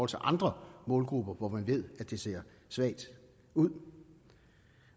til andre målgrupper hvor man ved at det ser svagt ud